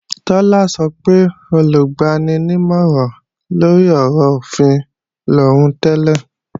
Tọ́lá sọ pé Olùgbaninímọ̀ràn-lórí-ọ̀rọ̀-òfin lòún tẹ́lẹ̀